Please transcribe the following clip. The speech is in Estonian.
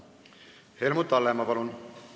Helmut Hallemaa, palun!